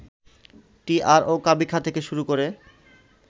TR ও কাবিখা থেকে শুরু করে